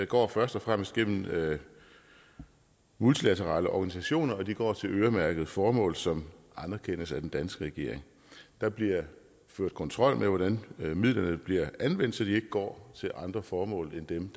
går først og fremmest gennem multilaterale organisationer og de går til øremærkede formål som anerkendes af den danske regering der bliver ført kontrol med hvordan midlerne bliver anvendt så de ikke går til andre formål end dem